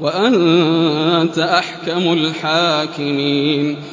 وَأَنتَ أَحْكَمُ الْحَاكِمِينَ